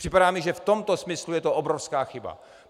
Připadá mi, že v tomto smyslu je to obrovská chyba.